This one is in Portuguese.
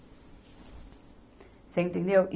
Você entendeu?